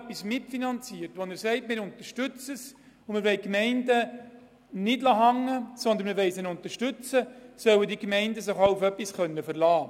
Bei einer Mitfinanzierung und Unterstützung nach Gemeinden durch den Kanton, sollen sich die Gemeinden darauf verlassen können.